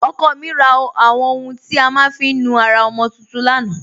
Ọkọ mi rà àwọn ọ̀hùn tí a má n fi nú ara ọmọ tuntun lánà.